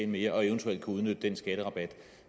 mere og eventuelt kan udnytte den skatterabat